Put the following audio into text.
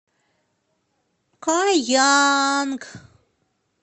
каянг